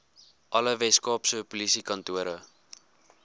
alle weskaapse polisiekantore